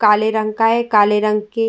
काले रंग का है। काले रंग की --